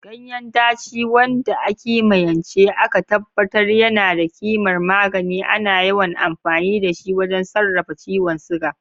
Ganyen daci, wanda a kimiyance aka tabbatar yana da kimar magani, ana yawan amfani da shi wajen sarrafa ciwon suga.